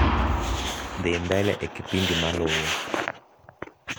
dhi mbele e kipindi maluo